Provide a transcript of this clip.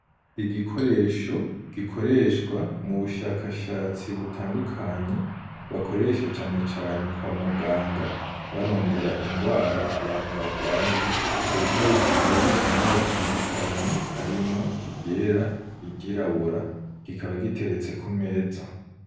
Igikoresho gikoreshwa mubushakashatsi butandukanye bakoresha cane cane kwa muganga barondera ingwara abantu bagwaye, ico gikoresho kikaba gifise amabara atandukanye harimwo iryera, iryirabura kikaba giteretse kumeza.